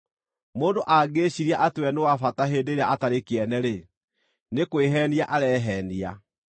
Mũndũ angĩĩciiria atĩ we nĩ wa bata hĩndĩ ĩrĩa atarĩ kĩene-rĩ, nĩ kwĩheenia areheenia.